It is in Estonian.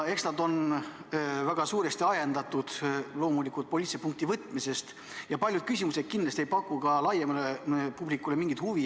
Eks need on väga suuresti ajendatud poliitilise punkti võtmisest ja paljud küsimused kindlasti ei paku ka laiemale publikule mingisugust huvi.